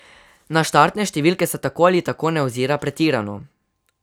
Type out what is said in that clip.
Na štartne številke se tako ali tako ne ozira pretirano.